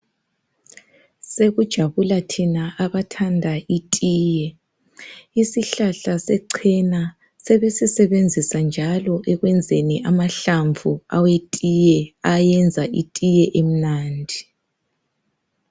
Sekujabula thina abathanda itiye isihlahla secena sebesisebenzisa njalo ekwenzela amahlamvu awethiye ayenza itiye emnandi.